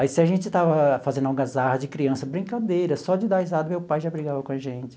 Aí, se a gente estava fazendo algazarra de criança, brincadeira, só de dar risada meu pai já brigava com a gente.